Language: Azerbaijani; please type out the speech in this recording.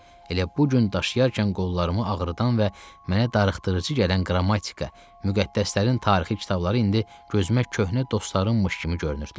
Elə bu gün daşıyarkən qollarımı ağrıdan və mənə darıxdırıcı gələn qrammatika, müqəddəslərin tarixi kitabları indi gözümə köhnə dostlarım imiş kimi görünürdülər.